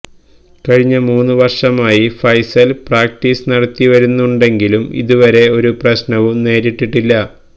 കഴിഞ്ഞ മൂന്ന് വര്ഷമായി ഫൈസല് പ്രാക്ടീസ് നടത്തിവരുന്നുണ്ടെങ്കിലും ഇതുവരെ ഒരു പ്രശ്നവും നേരിട്ടിട്ടില്ല